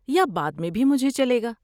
یا بعد میں بھی مجھے چلے گا۔